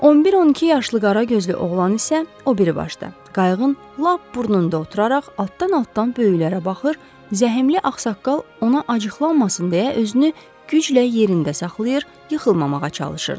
11-12 yaşlı qara gözlü oğlan isə o biribaşda, qayıqın lap burnunda oturaraq atdan-atdan böyüklərə baxır, zəhimli axsaqqal ona acıqlanmasın deyə özünü güclə yerində saxlayır, yıxılmamağa çalışırdı.